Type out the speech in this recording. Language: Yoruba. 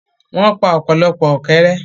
wọ́n pa ọ̀pọ̀lọpọ̀ “ ọ̀kẹ́rẹ́”.